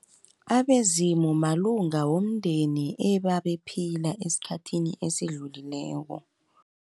Abezimu, malunga womndeni ebabephila eskhathini esidlulileko.